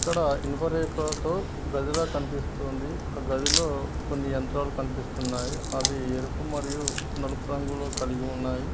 ఇక్కడ ఇనుప రేకులతో గదిల కనిపిస్తోంది ఆ గదిలో కొన్ని యంత్రాలు కనిపిస్తున్నాయి అవి ఎరుపు మరియు నలుపు రంగులో కలిగి ఉన్నాయి.